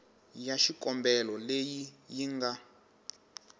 ya xikombelo leyi yi nga